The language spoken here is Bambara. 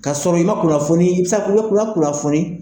Ka sɔrɔ i ma kunnafoni, i bi se ka fɔ i ma, i ma kunnafoni